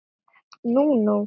Nú nú.